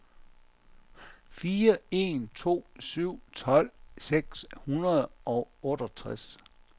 fire en to syv tolv seks hundrede og otteogtres